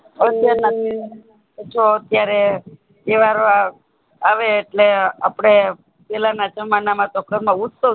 હમ જો અતિયાર તહેવાર આવે એટલે આપડે પેહલા ના જમાના માં ઘર માં ઉત્સવ